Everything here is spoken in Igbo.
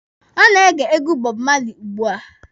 Ọ na-ege egwu Bob Marley ugbua.